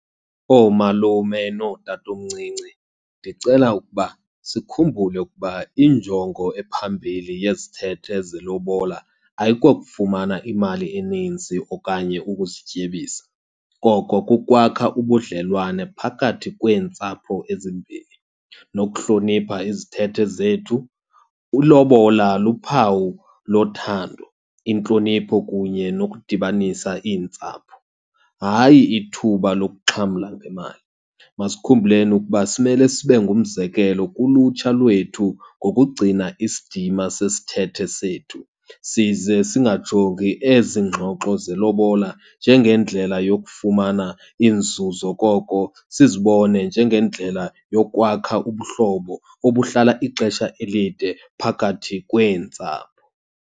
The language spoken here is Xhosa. Oomalume nootatomncinci ndicela ukuba sikhumbule ukuba injongo ephambili yezithethe zelobola ayikokufumana imali eninzi okanye ukuzityebisa, koko kukwakha ubudlelwane phakathi kweentsapho ezimbini nokuhlonipha izithethe zethu. Ilobola luphawu lothando, intlonipho, kunye nokudibanisa iintsapho, hayi ithuba lokuxhamla ngemali. Masikhumbuleni ukuba simele sibe ngumzekelo kulutsha lwethu ngokugcina isidima sesithethe sethu. Size singajongi ezi ngxoxo zelobola njengendlela yokufumana inzuzo, koko sizibone njengendlela yokwakha ubuhlobo obuhlala ixesha elide phakathi kweentsapho.